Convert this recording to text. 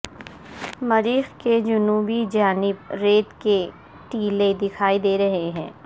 مریخ کے جنوبی جانب ریت کی ٹیلے دکھائی دے رہی ہے